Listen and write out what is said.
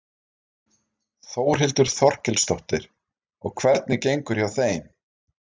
Þórhildur Þorkelsdóttir: Og hvernig gengur hjá þeim?